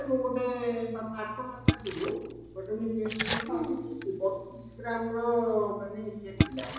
ମୁଁ ଗୋଟେ ସାତ ଆଠ ମାସ ଆଗରୁ ଗୋଟେ ମୁଁ କିଣିଥିଲି ବତିଶ ଗ୍ରାମର ମାନେ ଇଏ ଥିଲା